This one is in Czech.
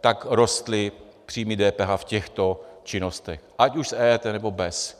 tak rostly příjmy DPH v těchto činnostech, ať už s EET, nebo bez.